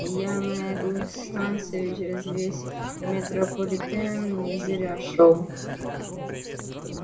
я на эту станцию через весь метрополитен не зря шёл